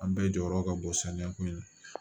An bɛɛ jɔyɔrɔ ka bon saniya ko ye